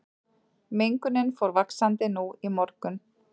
Mengunin fór vaxandi nú í morgun